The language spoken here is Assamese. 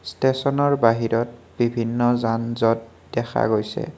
ষ্টেচন ৰ বাহিৰত বিভিন্ন যান-যত দেখা গৈছে।